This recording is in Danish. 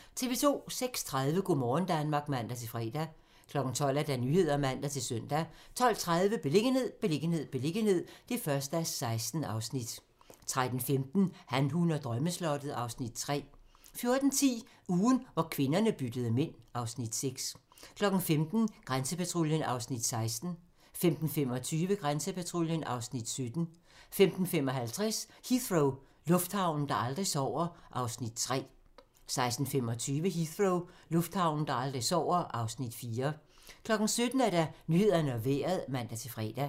06:30: Go' morgen Danmark (man-fre) 12:00: Nyhederne (man-søn) 12:30: Beliggenhed, beliggenhed, beliggenhed (1:16) 13:15: Han, hun og drømmeslottet (Afs. 3) 14:10: Ugen, hvor kvinderne byttede mænd (Afs. 6) 15:00: Grænsepatruljen (Afs. 16) 15:25: Grænsepatruljen (Afs. 17) 15:55: Heathrow - lufthavnen, der aldrig sover (Afs. 3) 16:25: Heathrow - lufthavnen, der aldrig sover (Afs. 4) 17:00: Nyhederne og Vejret (man-fre)